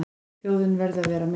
Þjóðin verði að vera með.